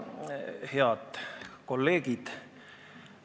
Head kolleegid!